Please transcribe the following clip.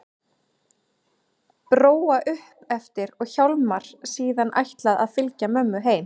Bróa upp eftir og Hjálmar síðan ætlað að fylgja mömmu heim.